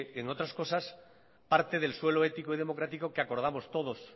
entre otras cosas parte del suelo ético y democrático que acordamos todos